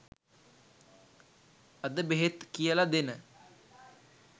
අද බෙහෙත් කියල දෙන